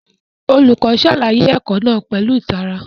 Olùkọ́ ṣàlàyé ẹ̀kọ́ náà pẹ̀lú ìtara